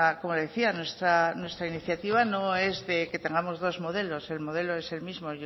como le decía nuestra iniciativa no es que tengamos dos modelos el modelo es el mismo